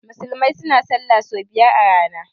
Musulmai suna sallah sau biyar a rana